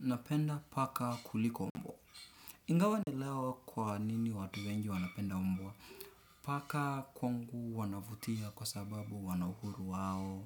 Napenda paka kuliko mbwa. Ingawaje leo kwanini watu wengi wanapenda mbwa. Paka kwangu wanavutia kwa sababu wanauhuru wao.